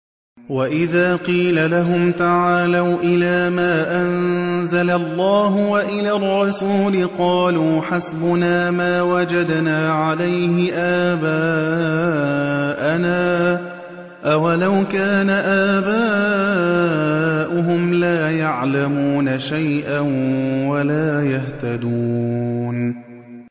وَإِذَا قِيلَ لَهُمْ تَعَالَوْا إِلَىٰ مَا أَنزَلَ اللَّهُ وَإِلَى الرَّسُولِ قَالُوا حَسْبُنَا مَا وَجَدْنَا عَلَيْهِ آبَاءَنَا ۚ أَوَلَوْ كَانَ آبَاؤُهُمْ لَا يَعْلَمُونَ شَيْئًا وَلَا يَهْتَدُونَ